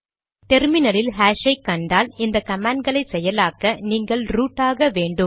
டெர்மினலில் ஹாஷ் ஐ கண்டால் இந்த கமாண்ட் களை செயலாக்க நீங்கள் ரூட் ஆக வேண்டும்